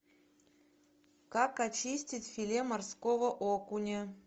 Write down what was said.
как очистить филе морского окуня